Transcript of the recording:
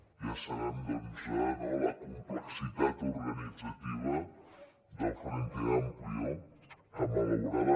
ja sabem doncs no la complexitat organitzativa del frente amplio que malaurada